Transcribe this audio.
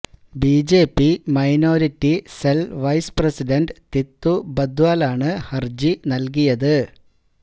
BJP minority cell vice president Tittu ബദ്വാലാണ് ഹരജി നൽകിയത്